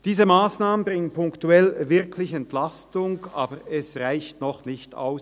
Diese Massnahmen bringen punktuell wirklich Entlastung, aber sie reichen noch nicht aus.